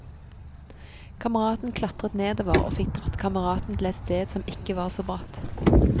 Kameraten klatret nedover, og fikk dratt kameraten til et sted som ikke var så bratt.